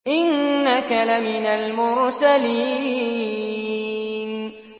إِنَّكَ لَمِنَ الْمُرْسَلِينَ